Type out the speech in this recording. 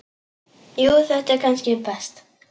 Jú þetta er kannski best.